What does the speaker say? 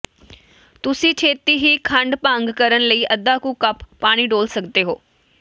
ਤੁਸੀਂ ਛੇਤੀ ਹੀ ਖੰਡ ਭੰਗ ਕਰਨ ਲਈ ਅੱਧਾ ਕੁ ਕੱਪ ਪਾਣੀ ਡੋਲ੍ਹ ਸਕਦੇ ਹੋ